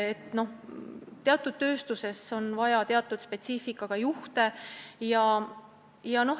Tööstuses on vaja teatud spetsiifikaga juhte.